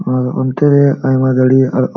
ᱟᱨ ᱤᱱᱛᱤ ᱨᱮ ᱟᱭᱢᱟ --